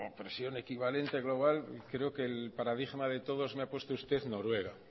presión equivalente global creo que el paradigma de todos me ha puesto usted noruega